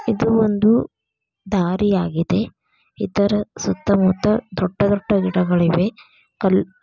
ಇದು ಒಂದು ದಾರಿಯಾಗಿದೆ ಇದರ ಸುತ್ತಮುತ್ತ ದೊಡ್ಡದೊಡ್ಡ ಗಿಡಗಳಿವೆ. ಕಲ್--